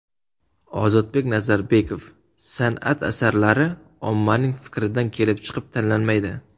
Ozodbek Nazarbekov: San’at asarlari ommaning fikridan kelib chiqib tanlanmaydi.